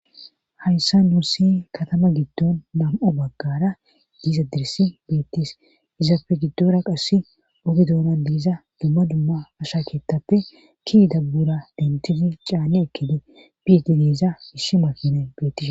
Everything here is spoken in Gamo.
Hayssa nuussi katama giddon nam7o baggara diiza dirisi beettis izapfe giddora qasse ode doora diiza dumma dumma asha keettappe kidabbura dentizi caanne ekkedi bieti diiza isshi makinee bettis.